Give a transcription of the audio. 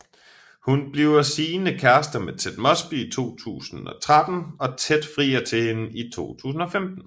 Hun bliver sigende kærester med Ted Mosby i 2013 og Ted frier til hende i 2015